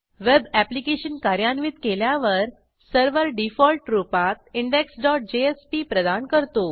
web application कार्यान्वित केल्यावर server default रूपात indexजेएसपी प्रदान करतो